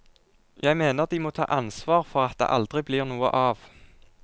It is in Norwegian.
Jeg mener de må ta ansvar for at det aldri blir noe av.